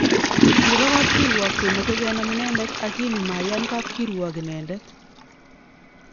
Kipa kapkirwok komache kenam inendet akini maiyan kapkirwok inandet